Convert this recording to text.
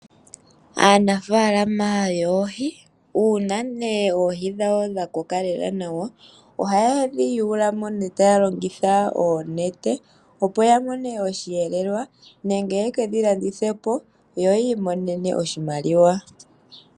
Aanafalama yoohi uuna nee oohi dhawo dhakoka nawa ohaye dhi yuulamo nee taya longitha oonete opo yamonemo osheelelwa nenge yeke dhilandithe opo yamonemo oshimaliwa.